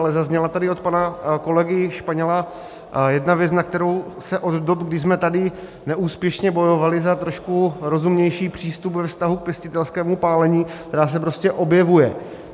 Ale zazněla tady od pana kolegy Španěla jedna věc, na kterou se od dob, kdy jsme tady neúspěšně bojovali za trošku rozumnější přístup ve vztahu k pěstitelskému pálení, která se prostě objevuje.